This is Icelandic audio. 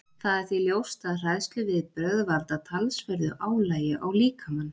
Það er því ljóst að hræðsluviðbrögð valda talsverðu álagi á líkamann.